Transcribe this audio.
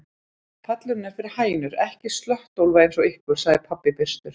Pallurinn er fyrir hænur, ekki slöttólfa eins og ykkur, sagði pabbi byrstur.